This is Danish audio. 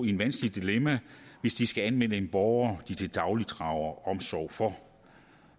i et vanskeligt dilemma hvis de skal anmelde en borger de til dagligt drager omsorg for